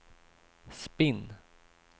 spinn